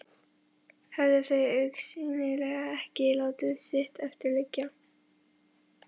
Höfðu þau augsýnilega ekki látið sitt eftir liggja.